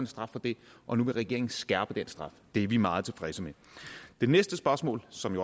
straf for det og nu vil regeringen skærpe den straf det er vi meget tilfredse med det næste spørgsmål som